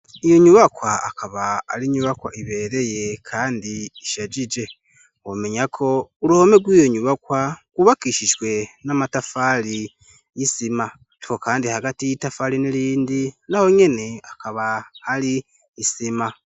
Iyo nyubakwa akaba ari inyubakwa ibereye ye kandi ishajije omenya ko ruhome gw'iyo nyubakwa kubakiishijwe n'amatafari yisima tho kandi hagati y'itafaali n'irindi naho nyene akaba hari isima.